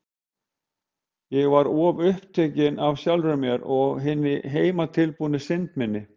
Ég var of upptekin af sjálfri mér og hinni heimatilbúnu synd minni.